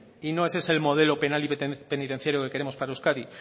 y no es ese el modelo penal y penitenciario que queremos para euskadi